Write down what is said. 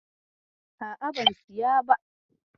A'a, ban siya ba.